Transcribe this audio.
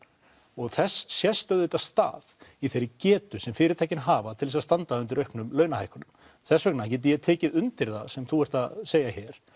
og þess sést auðvitað stað í þeirri getu sem fyrirtækin hafa til þess að standa undir auknum launahækkunum þess vegna get ég tekið undir það sem þú ert að segja hér